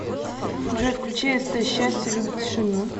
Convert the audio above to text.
джой включи эстэ счастье любит тишину